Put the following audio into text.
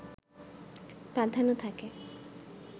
প্রাধান্য থাকে